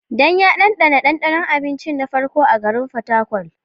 Dan ya ɗanɗana ɗanɗanon abinci na farko a garin Fatakwal.